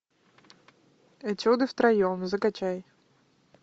этюды втроем закачай